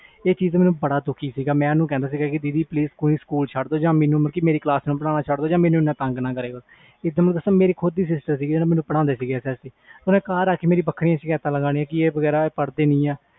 ਇਹ ਚੀਜ਼ ਤੋਂ ਬਹੁਤ ਦੁਖੀ ਸੀ ਮੈਂ ਓਹਨੂੰ ਕਹਿੰਦਾ ਸੀ ਕਿ ਦੀਦੀ please ਸਕੂਲ ਛੱਡ ਦੋ ਜਾ ਮੇਰੀ ਕਲਾਸ ਨੂੰ ਪੜ੍ਹਨਾ ਛੱਡ ਦੋ ਜਾ ਮੈਨੂੰ ਤੰਗ ਨਾ ਕਰਾਇਆ ਕਰੋ ਮੇਰੀ ਪਾੜਦੀ ਸੀ ਘਰ ਆ ਕੇ ਵੱਖਰੀਆਂ ਛੇਕੇਤਾ ਲੈਂਦੀ ਸੀ